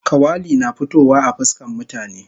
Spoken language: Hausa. Kawali na fitowa a fuskan mutane